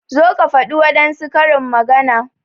Zo ka faɗi wadansu karin magana!